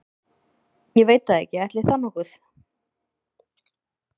Ég veit það ekki, ætli það nokkuð.